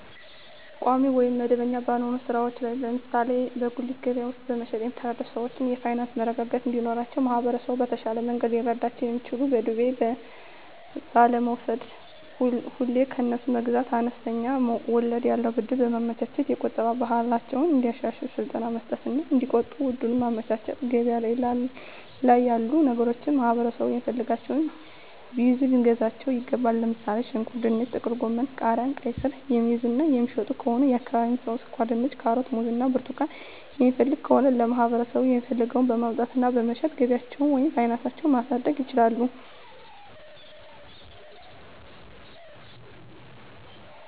ቋሚ ወይም መደበኛ ባልሆነ ሥራ ላይ (ለምሳሌ በጉሊት ገበያ ውስጥ በመሸጥ)የሚተዳደሩ ሰዎች የፋይናንስ መረጋጋት እንዲኖራቸው ማህበረሰቡ በተሻለ መንገድ ሊረዳቸው የሚችለው በዱቤ ባለመውስድ፤ ሁሌ ከነሱ መግዛት፤ አነስተኛ ወለድ ያለው ብድር በማመቻቸት፤ የቁጠባ ባህላቸውን እንዲያሻሽሉ ስልጠና መስጠት እና እዲቆጥቡ እድሉን ማመቻቸት፤ ገበያ ላይ ያሉ ነገሮችን ማህበረሠቡ የሚፈልገውን ቢይዙ ልናግዛቸው ይገባል። ለምሣሌ፦ ሽንኩርት፤ ድንች፤ ጥቅልጎመን፤ ቃሪያ፤ ቃይስር፤ የሚይዙ እና የሚሸጡ ከሆነ የአካባቢው ሠው ስኳርድንች፤ ካሮት፤ ሙዝ እና ብርቱካን የሚፈልግ ከሆነ ለማህበረሰቡ የሚፈልገውን በማምጣት እና በመሸጥ ገቢያቸውን ወይም ፋናሳቸው ማሣደግ ይችላሉ።